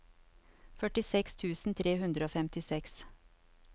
førtiseks tusen tre hundre og femtiseks